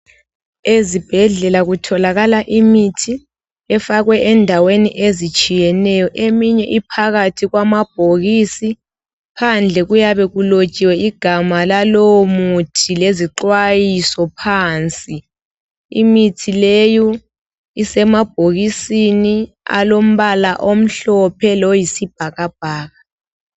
Ezibhedlela kutholakala imithi efakwe endaweni ezitshiyeneyo. Eminye iphakathi kwamabhokisi . Phandle kuyabe kulotshiwe igama lalowomuthi Lezixwayiso phansi. lmithi leyu isemabhokisini, alombala omhlophe loyisibhakabhaka.